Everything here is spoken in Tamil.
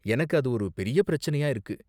எனக்கு அது ஒரு பெரிய பிரச்சனையா இருக்கு.